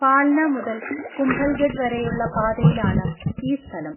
ഫാൽന മുതൽ കുംഭൽഗഡ് വരെയുള്ള പാതയിലാണ് ഈ സ്ഥലം.